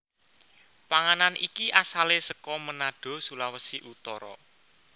Panganan iki asale saka Manado Sulawesi Utara